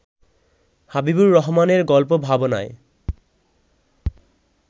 হাবিবুর রহমানের গল্প ভাবনায়